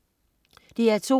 DR2: